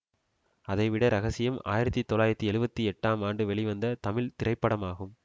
அதை விட ரகசியம் ஆயிரத்தி தொள்ளாயிரத்தி எழுபத்தி எட்டாம் ஆண்டு வெளிவந்த தமிழ் திரைப்படமாகும்